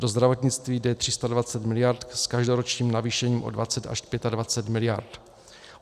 Do zdravotnictví jde 320 miliard s každoročním navýšením o 20 až 25 miliard.